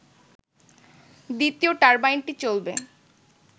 দ্বিতীয় টারবাইনটি চলবে